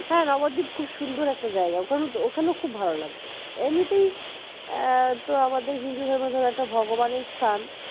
হ্যাঁ নবদ্বীপ খুব সুন্দর একটা জায়গা ওখানে ওখানে খুব ভালো লাগবে এমনিতেই তো আমাদের হিন্দু ধর্মের ধরো একটা ভগবানের স্থান